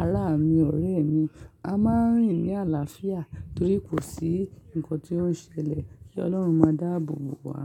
ará mi, ọ̀rẹ́ mi. A máa ń rìn ní àlàáfíà torí kò sí nǹkan tí ó ń ṣẹlẹ̀ kí Ọlọ́run máa dáàbò bò wá.